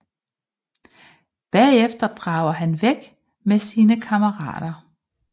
Bagefter drager han væk med sine kammerater